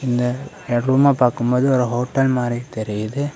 இந்த இட ரூம பாக்கும்போது ஒரு ஹோட்டல் மாதிரி தெரியுது.